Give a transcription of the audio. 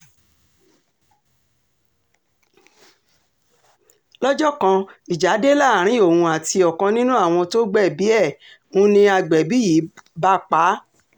lọ́jọ́ kan ìjà dé láàrin òun àti ọ̀kan nínú àwọn tó gbẹ̀bí ẹ̀ ń ní agbẹ̀bí yìí bá pa á